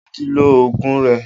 O ti lo ogun rẹ.